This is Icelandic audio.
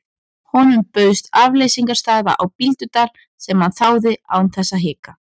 Honum bauðst afleysingarstaða á Bíldudal sem hann þáði án þess að hika.